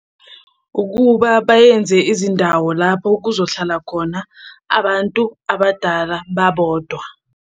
Ukuba bayenze izindawo lapho kuzohlala khona abantu abadala babodwa.